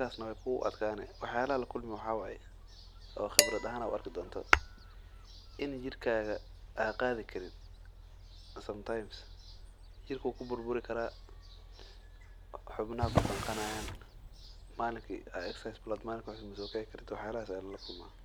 kartid waxaas ayaa lala kulmaan.